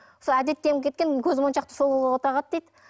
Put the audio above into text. сол әдеттеніп кеткен көзмоншақты сол қолға тағады дейді